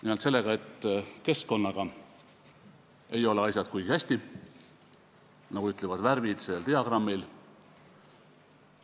Nimelt alustan sellest, et keskkonnaga ei ole asjad kuigi hästi, nagu ütlevad ka värvid sel diagrammil.